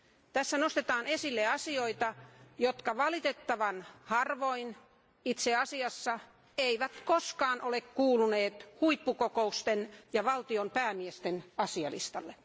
Tässä nostetaan esille asioita, jotka valitettavan harvoin, itse asiassa eivät koskaan ole kuuluneet huippukokousten ja valtion päämiesten asialistalle.